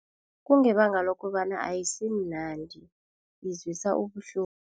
Kungebanga lokobana ayisimnandi izwisa ubuhlungu.